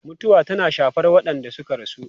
Mutuwa tana shafar waɗanda suka rasu.